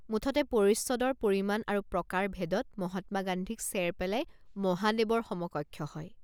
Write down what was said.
মুঠতে পৰিচ্ছদৰ পৰিমাণ আৰু প্ৰকাৰ ভেদত মহাত্মা গান্ধীক চেৰ পেলাই মহাদেৱৰ সমকক্ষ হয়।